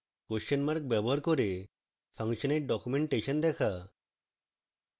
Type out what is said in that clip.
question mark ব্যবহার করে ফাংশনের ডকুমেন্টেশন দেখা